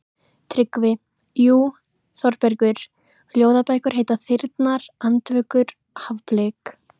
TRYGGVI: Jú, Þórbergur, ljóðabækur heita Þyrnar, Andvökur, Hafblik.